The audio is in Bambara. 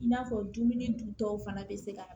I n'a fɔ dumuni duntɔw fana bɛ se ka